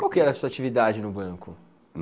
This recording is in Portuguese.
Qual era a sua atividade no banco?